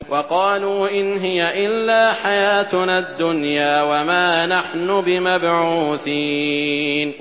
وَقَالُوا إِنْ هِيَ إِلَّا حَيَاتُنَا الدُّنْيَا وَمَا نَحْنُ بِمَبْعُوثِينَ